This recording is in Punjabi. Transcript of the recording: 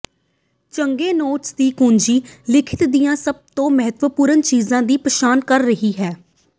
ਚੰਗੇ ਨੋਟਸ ਦੀ ਕੁੰਜੀ ਲਿਖਤ ਦੀਆਂ ਸਭ ਤੋਂ ਮਹੱਤਵਪੂਰਣ ਚੀਜ਼ਾਂ ਦੀ ਪਛਾਣ ਕਰ ਰਹੀ ਹੈ